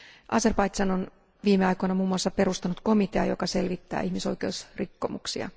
Azerbaidžan on viime aikoina muun muassa perustanut komitean, joka selvittää ihmisoikeusrikkomuksia.